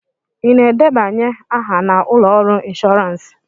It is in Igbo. Ị na-edebanye aha na ụlọ ọrụ ịnshoransị?